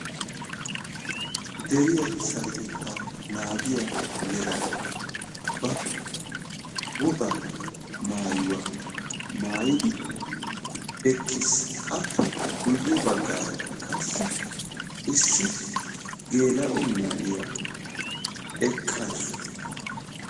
deriya sarotetta naagiyaa yelagay ba woga maayuwaa maayyidi eqqiis; appe guyye bagarakka qassi issi gela"o na'iya eqqaasu.